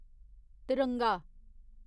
तिरंगा